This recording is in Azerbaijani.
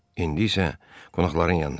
İndi isə qonaqların yanına gedək.